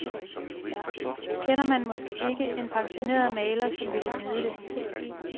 Kender man måske ikke en pensioneret maler, som ville nyde det.